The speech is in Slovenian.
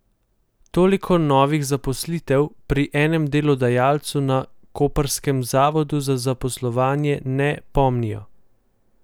Toliko novih zaposlitev pri enem delodajalcu na koprskem zavodu za zaposlovanje ne pomnijo.